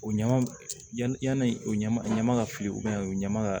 O ɲama yanni o ɲama ɲama ka fili u ɲama ka